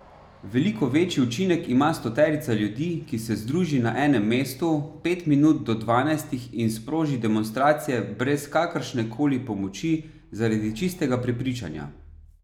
Veliko večji učinek ima stoterica ljudi, ki se združi na enem mestu pet minut do dvanajstih in sproži demonstracije brez kakršne koli pomoči, zaradi čistega prepričanja.